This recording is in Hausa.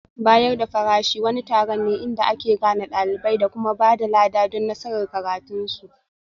Bayar da farashi wani taron ne inda ake gane ɗalibai da kuma ba da lada don nasarar karatunsu